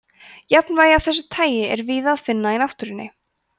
jafnvægi af þessu tagi er víða að finna í náttúrunni